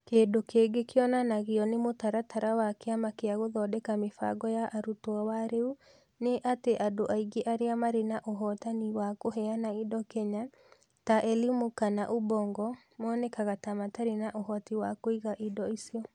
Kĩndũ kĩngĩ kĩonanagio nĩ mũtaratara wa kĩama kĩa Gũthondeka Mĩbango ya Arutwo wa rĩu nĩ atĩ andũ aingĩ arĩa marĩ na ũhotani wa kũheana indo Kenya, ta eLimu kana Ubongo, monekaga ta matarĩ na ũhoti wa kũiga indo icio.